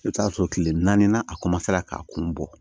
I bɛ t'a sɔrɔ tile naani a k'a kun bɔ